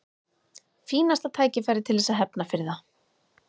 Fínasta tækifæri til þess að hefna fyrir það.